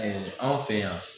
anw fɛ yan